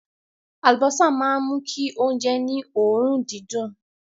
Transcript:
Àlùbọ́sà máa ń mú kí oúnjẹ ní òórùn dídùn.